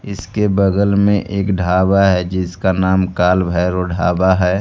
इसके बगल में एक ढाबा है जिसका नाम काल भैरव ढाबा है।